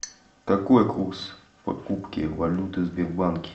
какой курс покупки валюты в сбербанке